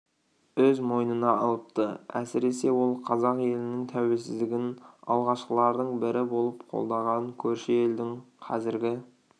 өз мойнына алыпты әсіресе ол қазақ елінің тәуелсіздігін алғашқылардың бірі болып қолдаған көрші елдің қазіргі